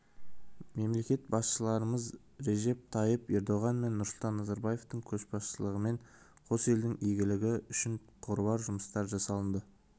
мемлекет басшыларымыз режеп тайип ердоған мен нұрсұлтан назарбаевтың көшбасшылығымен қос елдің игілігі үшін қыруар жұмыстар жасалынды